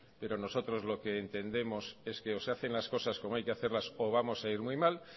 pero nosotros lo que entendemos es que o se hacen las cosas como hay que hacerlas o vamos a ir muy mal